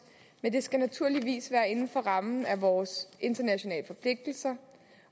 men det skal naturligvis være inden for rammen af vores internationale forpligtelser